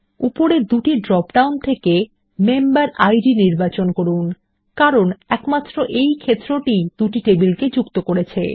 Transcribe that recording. উপরের দুটি drop down থেকে মেম্বেরিড ক্ষেত্রটি নির্বাচন করুন কারণ একমাত্র এই ক্ষেত্র টিই দুটি টেবিলকে যুক্ত করেছে